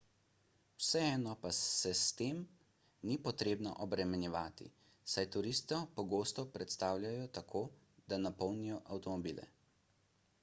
vseeno pa se s tem ni potrebno obremenjevati saj turiste pogosto prestavljajo tako da napolnijo avtomobile